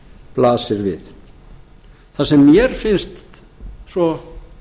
blasir við það sem mér finna svo